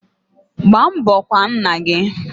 Gbaa mbo kwaa nna gi